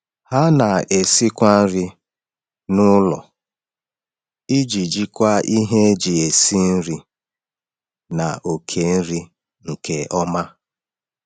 Ha na-esikwa nri n’ụlọ iji jikwaa ihe eji esi nri na oke nri nke ọma.